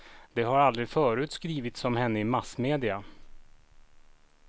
Det har aldrig förut skrivits om henne i massmedia.